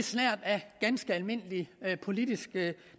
snert af ganske almindelig politisk